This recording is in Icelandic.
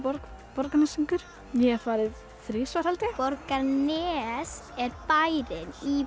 Borgnesingur ég hef farið þrisvar held ég Borgarnes er bærinn í